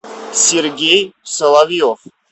сергей соловьев